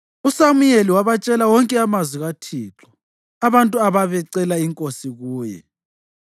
USamuyeli wabatshela wonke amazwi kaThixo abantu ababecela inkosi kuye.